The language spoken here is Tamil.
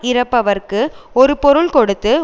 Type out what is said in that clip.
இரப்பவர்க்கு ஒரு பொருள் கொடுத்து